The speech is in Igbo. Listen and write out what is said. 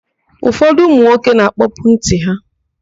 Ụfọdụ ụmụnwoke na-akpọpu ntị ha.